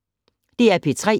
DR P3